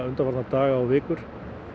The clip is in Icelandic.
undanfarna daga og vikur